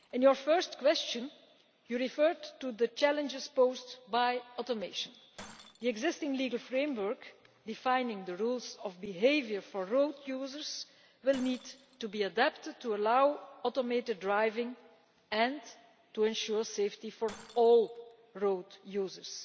The first question referred to the challenges posed by automation. The existing legal framework defining the rules of behaviour for road users will need to be adapted to allow automated driving and to ensure safety for all road users.